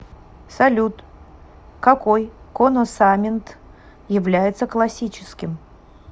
салют какой коносамент является классическим